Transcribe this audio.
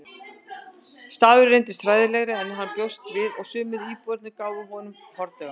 Staðurinn reyndist hræðilegri en hann bjóst við og sumir íbúarnir gáfu honum hornauga.